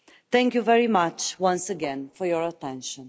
Thank you very much once again for your attention.